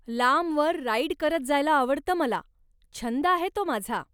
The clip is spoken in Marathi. लांबवर राईड करत जायला आवडतं मला, छंद आहे तो माझा.